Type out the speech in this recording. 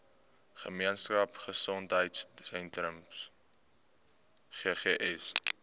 gemeenskap gesondheidsentrum ggs